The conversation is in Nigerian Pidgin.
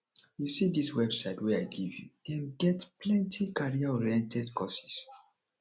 you see dis website wey i give you them get plenty careeroriented courses